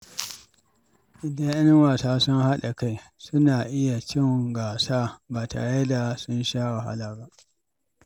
Idan ƴan wasa sun haɗa kai, suna iya cin gasa ba tare da sun sha wahala ba.